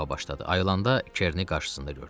Ayılanda Kerini qarşısında gördü.